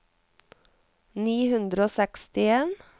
ni hundre og sekstien